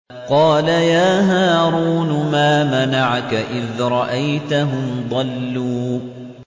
قَالَ يَا هَارُونُ مَا مَنَعَكَ إِذْ رَأَيْتَهُمْ ضَلُّوا